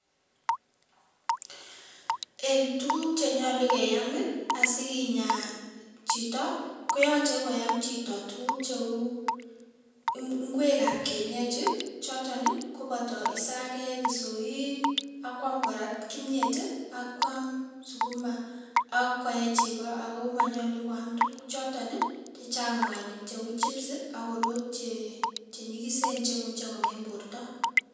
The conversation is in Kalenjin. Eng tukuk chenyolu keyamii asikinyaa chitoo koyoche koam chito tukuk cheuu ng'kwek ab kienyechi chotonii koboto isakek, isoik akwamkora kimnyetii akwam sukuma ak koee chekoo ak ko monyolu kwaam tukuchoton chechang mwanik cheuu chibsii akoroot chenyikisen chemuche kong'em bortoo.